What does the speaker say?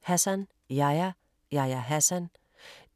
Hassan, Yahya: Yahya Hassan